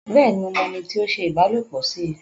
Bẹ́ẹ̀ni, mo mọ ẹni tí ó ṣe ìbálòpọ̀ sí i